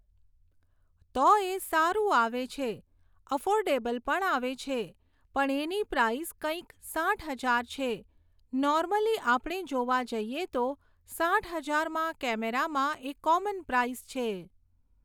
તો એ સારું આવે છે અફોર્ડેબલ પણ આવે છે પર એની પ્રાઈઝ કંઈક સાઠ હજાર છે. નોર્મલી આપણે જોવા જઈએ તો સાઠ હજારમાં કૅમેરામાં એ કૉમન પ્રાઈઝ છે